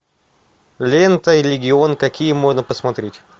лента и легион какие можно посмотреть